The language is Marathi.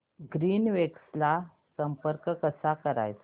ग्रीनवेव्स ला संपर्क कसा करायचा